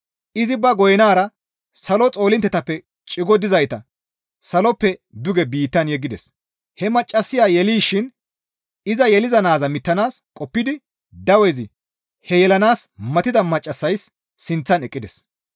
Izi ba goynara salo xoolinttetappe cigo gidizayta saloppe duge biittan yeggides; he maccassaya yelishin iza yeliza naaza mittanaas qoppidi dawezi he yelanaas matida maccassays sinththan eqqides.